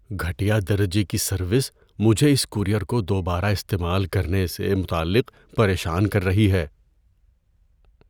گھٹیا درجے کی سروس مجھے اس کورئیر کو دوبارہ استعمال کرنے سے متعلق پریشان کر رہی ہے۔